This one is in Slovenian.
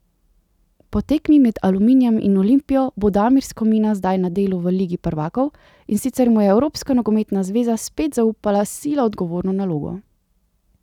Po tekmi med Aluminijem in Olimpijo bo Damir Skomina zdaj na delu v ligi prvakov, in sicer mu je Evropska nogometna zveza spet zaupala sila odgovorno nalogo.